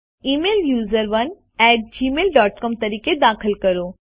email યુઝરોને at Gmail dot C O M તરીકે દાખલ કરો